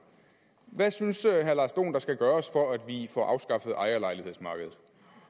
hvad synes herre lars dohn der skal gøres for at vi får afskaffet ejerlejlighedsmarkedet